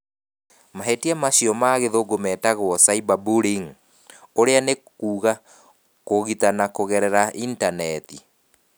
Mahĩtia macio na gĩthũngũ metagwo 'cyber bullying’ ũrĩa nĩ kuuga kũũgitana kũgerera initaneti.